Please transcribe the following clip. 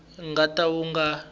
nga ta ka wu nga